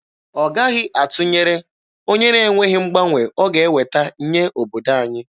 Ọ gaghị atụnyere onye na-enweghị mgbanwe ọ ga-eweta nye obodo anyị.